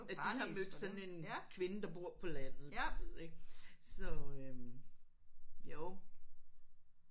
At de har mødt sådan en kvinde der bor på landet du ved ik så øh jo